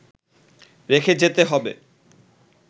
রেখে যেতে হবে